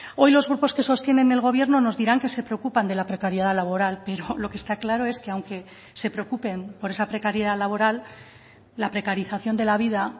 hoy los grupos que sostienen el gobierno nos dirán que se preocupan de la precariedad laboral pero lo que está claro es que aunque se preocupen por esa precariedad laboral la precarización de la vida